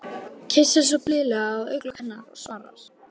Kyssir svo blíðlega á augnalok hennar og svarar